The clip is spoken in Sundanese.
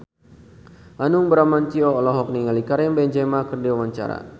Hanung Bramantyo olohok ningali Karim Benzema keur diwawancara